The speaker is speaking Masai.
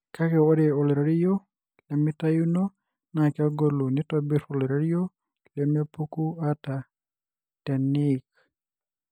kake ore oloirerio lemitayuno na kegolu na nitobir oloirerio lemepuku ata teniik.